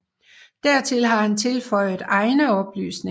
Dertil har han tilføjet egne oplysninger